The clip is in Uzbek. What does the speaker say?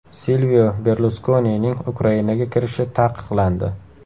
Silvio Berluskonining Ukrainaga kirishi taqiqlandi.